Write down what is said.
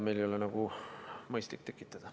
Seda ei ole meil mõistlik tekitada.